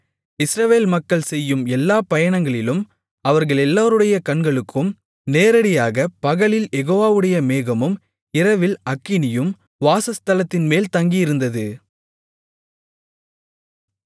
இஸ்ரவேல் மக்கள் செய்யும் எல்லாப் பயணங்களிலும் அவர்களெல்லோருடைய கண்களுக்கும் நேரடியாக பகலில் யெகோவாவுடைய மேகமும் இரவில் அக்கினியும் வாசஸ்தலத்தின்மேல் தங்கியிருந்தது